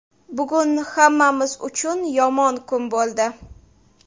Bugun hammamiz uchun yomon kun bo‘ldi.